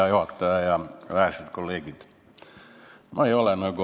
Hea juhataja ja vähesed kolleegid!